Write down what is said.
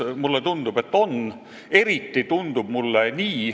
Mulle tundub, et teatud mõttes on.